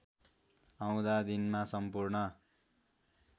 आउँदा दिनमा सम्पूर्ण